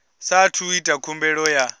saathu u ita khumbelo ya